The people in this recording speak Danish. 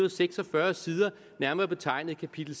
og seksogfyrre sider nærmere betegnet kapitel